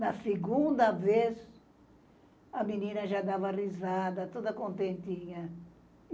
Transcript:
Na segunda vez, a menina já dava risada, toda contentinha.